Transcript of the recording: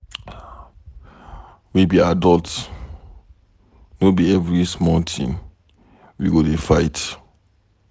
We be adults, no be every small thing we go dey fight.